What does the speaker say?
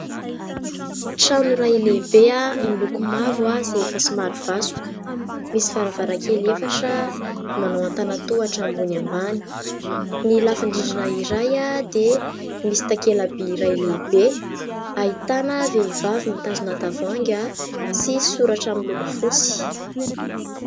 Trano iray lehibe miloko mavo izay efa somary vasoka. Misy varavarankely efatra manao an-tana-tohatra ambony ambany. Ny lafin-drindrina iray dia misy takela-by iray lehibe, ahitana vehivavy mitazona tavoahangy sy soratra miloko fotsy.